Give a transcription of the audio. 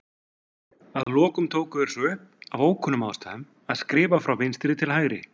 Að lokum tóku þeir svo upp, af ókunnum ástæðum, að skrifa frá vinstri til hægri.